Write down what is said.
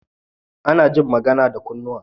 Ana jin magan da kunnuwa